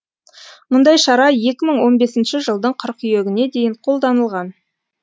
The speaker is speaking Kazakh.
мұндай шара екі мың он бесінші жылдың қыркүйегіне дейін қолданылған